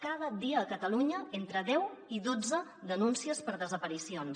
cada dia a catalunya entre deu i dotze denúncies per desaparicions